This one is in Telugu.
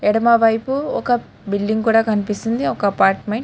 ఎడమవైపు ఒక బిల్డింగ్ కూడా కన్పిస్తుంది ఒక అపార్ట్మెంట్ --